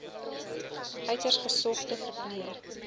uiters gesogde verpleër